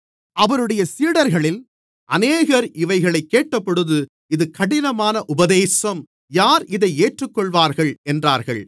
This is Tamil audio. அவருடைய சீடர்களில் அநேகர் இவைகளைக் கேட்டபொழுது இது கடினமான உபதேசம் யார் இதை ஏற்றுக்கொள்வார்கள் என்றார்கள்